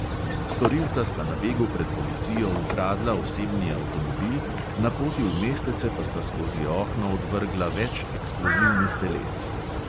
Storilca sta na begu pred policijo ukradla osebni avtomobil, na poti v mestece pa sta skozi okno odvrgla več eksplozivnih teles.